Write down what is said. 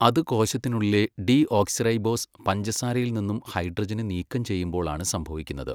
അത് കോശത്തിനുള്ളിലെ ഡീഓക്സിറൈബോസ് പഞ്ചസാരയിൽ നിന്നും ഹൈഡ്രജനെ നീക്കം ചെയ്യുമ്പോൾ ആണ് സംഭവിക്കുന്നത്.